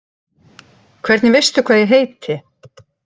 Hvernig veistu hvað ég heiti?